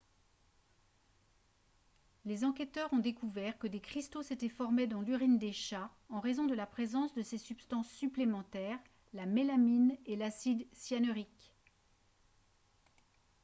les enquêteurs ont découvert que des cristaux s'étaient formés dans l'urine des chats en raison de la présence de ces substances supplémentaires la mélamine et l'acide cyanurique